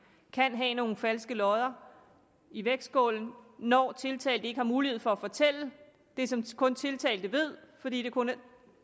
kan være nogle falske lodder i vægtskålen når tiltalte ikke har mulighed for at fortælle det som kun tiltalte ved fordi det kun er